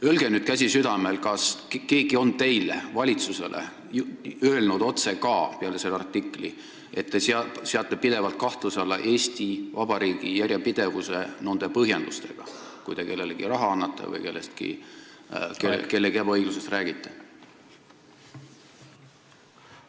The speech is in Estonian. Öelge nüüd, käsi südamel, kas keegi on valitsusele peale selle artikli ka otse öelnud, et te seate Eesti Vabariigi järjepidevuse pidevalt kahtluse alla, kui toote sääraseid põhjendusi, kui kellelegi raha annate või kellegi ebaõiglusest räägite?